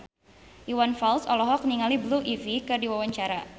Iwan Fals olohok ningali Blue Ivy keur diwawancara